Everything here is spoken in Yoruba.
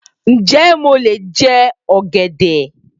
Ǹ jẹ́ mó le jẹ ọ̀gẹ̀dẹ̀?